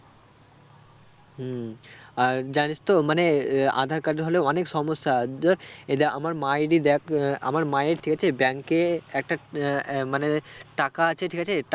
হম আর জানিস তো মানে আহ আধাঁর card এ হলে অনেক সমস্যা এই দেখ আমার মায়েরই দেখ আহ আমার মায়ের ঠিক আছে bank এ একটা আহ আহ মানে টাকা আছে ঠিক আছে